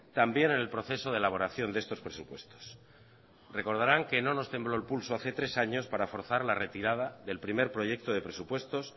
también en el proceso de elaboración de estos presupuestos recordarán que no nos tembló el pulso hace tres años para forzar la retirada del primer proyecto de presupuestos